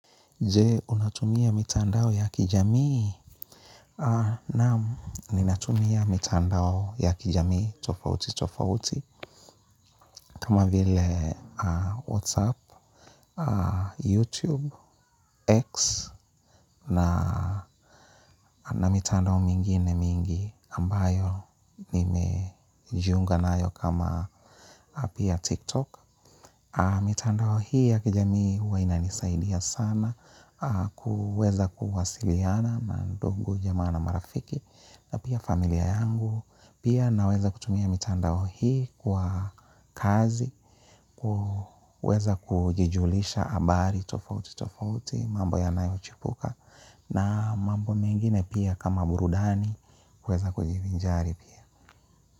Je, unatumia mitandao ya kijamii? Naam ninatumia mitandao ya kijamii tofauti tofauti kama vile WhatsApp, YouTube, X na mitandao mingine mingi ambayo nimejiunga nayo kama app ya TikTok. Mitandao hii ya kijamii huwa inanisaidia sana kuweza kuwasiliana na ndungu, jamaa na marafiki na pia familia yangu pia naweza kutumia mitandao hii kwa kazi kuweza kujijulisha habari tofauti tofauti mambo yanayo chipuka na mambo mengine pia kama burudani kuweza kujivinjari pia.